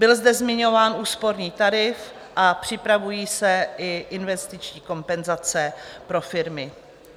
Byl zde zmiňován úsporný tarif a připravují se i investiční kompenzace pro firmy.